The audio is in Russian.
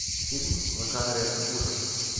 фильм в жанре ужасы